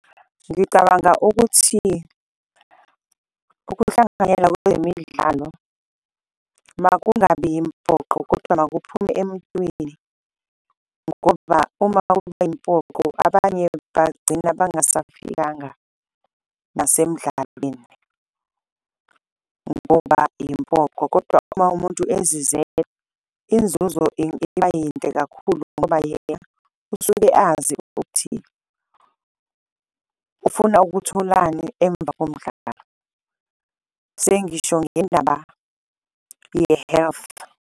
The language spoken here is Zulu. Ngicabanga ukuthi ukuhlanganyela kwezemidlalo makungabi yimpoqo kodwa makuphume emuntwini, ngoba uma kuba yimpoqo abanye bagcina bangasafikanga nasemidlalweni ngoba impoqo. Kodwa uma umuntu ezizele inzuzo ingaba yinhle kakhulu ngoba yena usuke azi ukuthi ufuna ukutholani emva komdlalo, sengisho ngendaba ye-health.